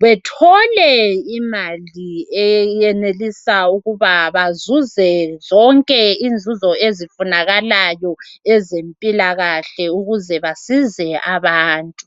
bethole imali eyenelisa ukuba bazuze zonke inzuzo ezifunakalayo ezempilakahle ukuze basize abantu.